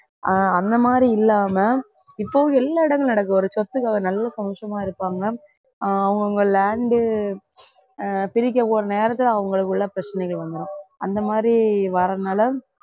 ஆஹ் அந்த மாதிரி இல்லாம இப்போ எல்லா இடங்களிலும் நடக்குது ஒரு சொத்துக்கு நல்ல சந்தோஷமா இருப்பாங்க ஆஹ் அவுங்க அவுங்க land உ பிரிக்க போற நேரத்துல அவங்களுக்குள்ள பிரச்சனைகள் வந்துடும் அந்த மாதிரி வரதுனால